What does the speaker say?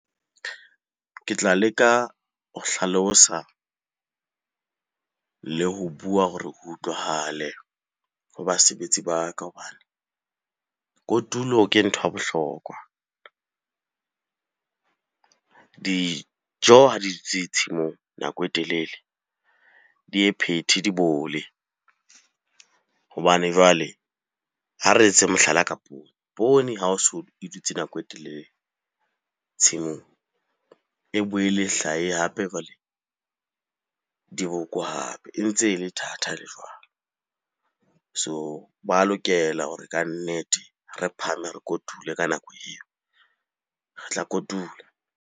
Ke tla leka ho hlalosa le ho bua hore utlwahale ho basebetsi ba ka hobane kotulo ke ntho ya bohlokwa. Dijo ha di dutse tshimong nako e telele, di ye phethe di bole hobane jwale ha re etse mohlala ka poone. Poone ha o so e dutse nako e telele tshimong, e boele hlahe hape jwale diboko hape e ntse e le thatha e le jwalo. So lokela hore kannete re phahame re kotule ka nako eo, re tla kotula.